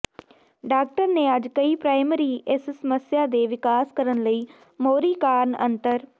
doctor ਨੇ ਅੱਜ ਕਈ ਪ੍ਰਾਇਮਰੀ ਇਸ ਸਮੱਸਿਆ ਦੇ ਵਿਕਾਸ ਕਰਨ ਲਈ ਮੋਹਰੀ ਕਾਰਨ ਅੰਤਰ